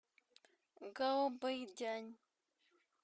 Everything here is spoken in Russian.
гаобэйдянь